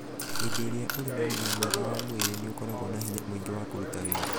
Hĩndĩ ĩrĩa ũrĩ na ũgima mwega wa mwĩrĩ, nĩ ũkoragwo na hinya mũingĩ wa kũruta wĩra.